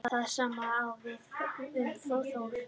Það sama á við um Þór.